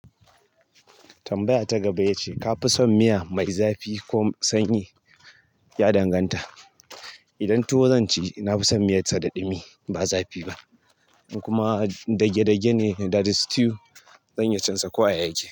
Tambaya ta gaba yace ka fi son miya mai zafi ko sanyi? Ya danganta. Idan tuwo zan ci, nafi son miyar sa da ɗumi ba zafi ba. Kuma in dagedage that is stew zan iya cin sa kowa ya yake.